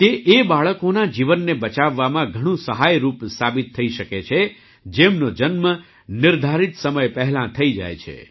તે એ બાળકોનાં જીવનને બચાવવામાં ઘણું સહાયરૂપ સાબિત થઈ શકે છે જેમનો જન્મ નિર્ધારિત સમય પહેલાં થઈ જાય છે